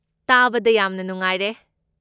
ꯇꯥꯕꯗ ꯌꯥꯝꯅ ꯅꯨꯡꯉꯥꯏꯔꯦ꯫